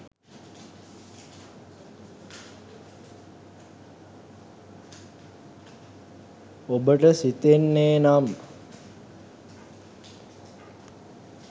ඔබට සිතෙන්නේ නම්